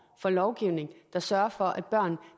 for lovgivning der sørger for at børn